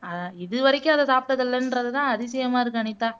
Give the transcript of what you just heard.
அஹ் இதுவரைக்கும் அதை சாப்பிட்டது இல்லன்றதுதான் அதிசயமா இருக்கு அனிதா